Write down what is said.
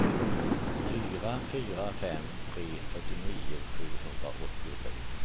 fyra fyra fem tre fyrtionio sjuhundraåttiotre